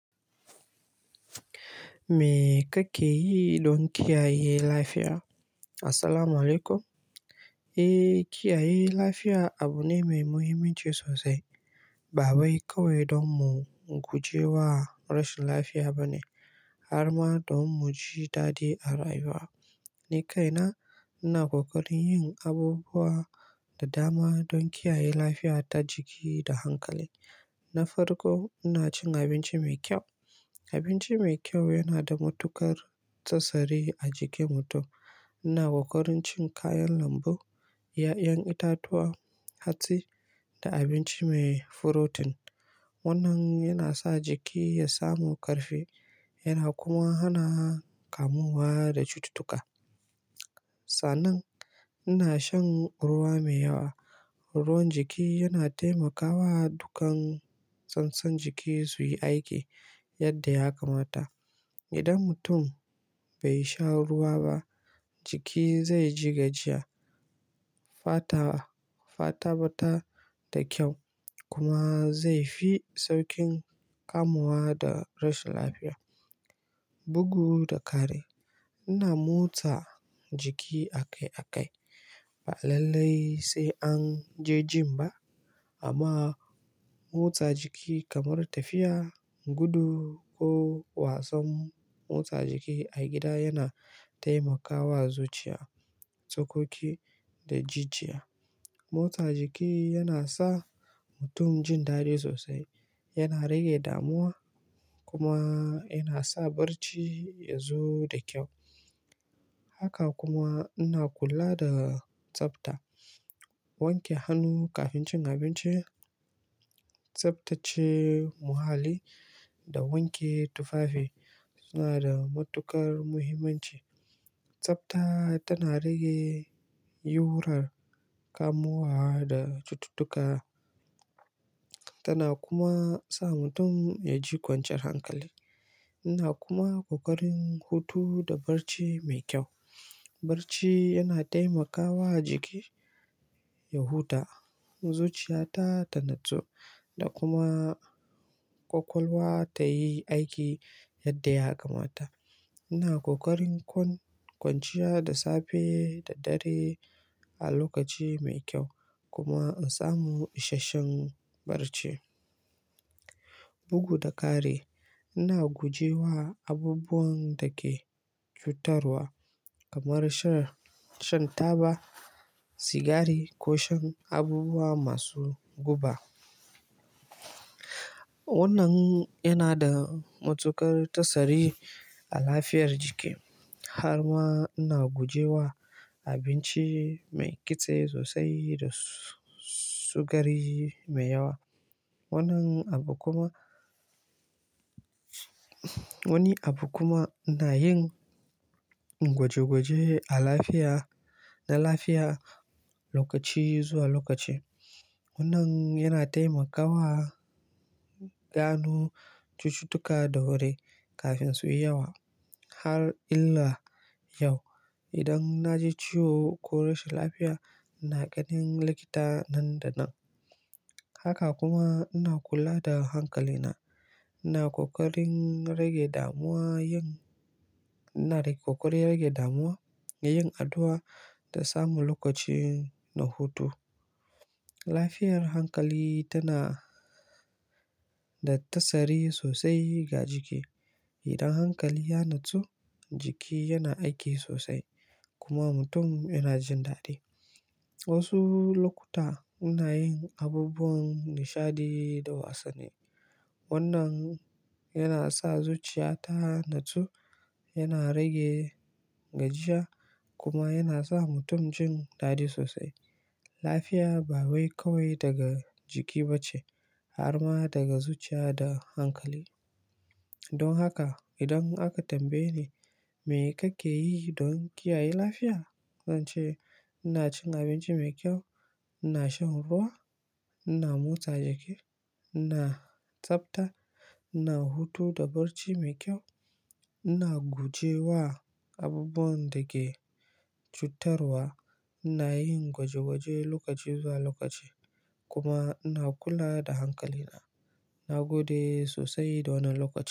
Me kake yi don kiyaye lafiya? Assalamualaikum. Eh, kiyaye lafiya abu ne mai muhimmanci sosai. Ba wai kawai don mu guje wa rashin lafiya bane, har ma don mu ji dadi a rayuwa. Ni kaina ina ƙoƙarin yin abubuwa da dama don kiyaye lafiya ta jiki da hankali. Na farko, ina cin abinci mai kyau. Abinci mai kyau yana da matuƙar tasiri a jikin mutum. Ina ƙoƙarin cin kayan lambu, ƴa'ƴan itatuwa, hatsi da abinci mai furotin. Wannan yana sa jiki ya samu ƙarfi yana kuma hana kamuwa da cututtuka. Sannan ina shan ruwa mai yawa. Ruwan jiki yana taimakawa dukan sassan jiki su yi aiki yadda ya kamata. Idan mutum bai sha ruwa ba, jiki zai ji gajiya, fata ba ta da kyau kuma zai fi sauƙin kamuwa da rashin lafiya. Bugu da kari ina motsa jiki a kai a kai. Ba lallai sai an je gym ba amma motsa jiki kamar tafiya, gudu ko wasan motsa jiki a gida yana taimakawa zuciya, tsokoki da jijiya. Motsa jiki yana sa mutum jin daɗi sosai, yana rage damuwa kuma yana sa barci ya zo da kyau. Haka kuma ina kula da tsafta. Wanke hannu kafin cin abinci, tsaftace muhalli da wanke tufafi suna da matuƙar muhimmanci. Tsafta tana rage yiwuwar kamuwa da cututtuka tana kuma sa mutum ya ji kwanciyar hankali. Ina kuma ƙoƙarin hutu da barci mai kyau. Barci yana taimakawa jiki ya huta, zuciya ta tanatsu da kuma ƙwaƙwalwa ta yi aiki yadda ya kamata. Ina ƙoƙarin kwanciya da safe da dare a lokaci mai kyau kuma in samu isasshen barci. Bugu da kare ina guje wa abubuwan da ke cutarwa kamar shan taba sigari ko shan abubuwa masu guba. Wannan yana da matuƙar tasiri a lafiyar jiki. Har ma ina guje wa abinci mai kitse sosai da sukari mai yawa. Wannan abu kuma-- wani abu kuma ina yin gwaje gwaje a lafiya-- da lafiya lokaci zuwa lokaci. Wannan yana taimakawa gano cututtuka da wuri kafin su yi yawa. Har illa yau idan na ji ciwo ko rashin lafiya ina ganin likita nan da nan. Haka kuma ina kula da hankalina. Ina ƙoƙarin rage damuwa yin-- ina ƙoƙarin rage damuwa da yin addu'a da samu lokaci na hutu. Lafiyar hankali tana da tasiri sosai ga jiki. Idan hankali ya natsu, jiki yana aiki sosai kuma mutum yana jin daɗi. Wasu lokuta ina yin abubuwan nishaɗi da wasanni. Wannan yana sa zuciya ta tanatsu, yana rage gajiya kuma yana sa mutum jin daɗi sosai. Lafiya ba wai kawai daga jiki bace har ma daga zuciya da hankali. Don haka idan aka tambaye ni me kake yi don kiyaye lafiya? Zance ina cin abinci mai kyau, ina shan ruwa, ina motsa jiki, ina tsafta, ina hutu da barci mai kyau, ina guje wa abubuwan da ke cutarwa, ina yin gwaje gwaje lokaci zuwa lokaci kuma ina kula da hankalina. Na gode sosai dan wannan lokacin.